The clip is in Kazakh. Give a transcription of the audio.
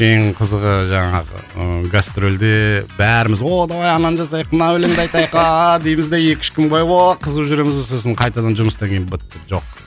ең қызығы жаңағы ыыы гастрольде бәріміз о давай ананы жазайық мына өлеңді айтайық ааа дейміз де екі үш бойы ооо қызып жүреміз де сосын қайтадан жұмыстан кейін бітті жоқ